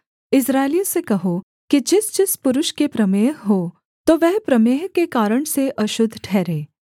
इस्राएलियों से कहो कि जिसजिस पुरुष के प्रमेह हो तो वह प्रमेह के कारण से अशुद्ध ठहरे